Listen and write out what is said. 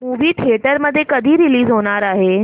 movie theatre मध्ये कधी release होणार आहे